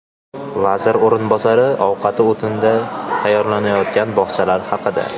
Vazir o‘rinbosari ovqati o‘tinda tayyorlanadigan bog‘chalar haqida.